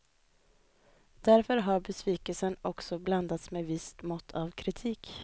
Därför har besvikelsen också blandats med visst mått av kritik.